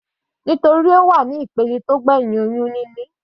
Nítorí Ó wà ní ìpele tó gbẹ̀hìn oyún níní.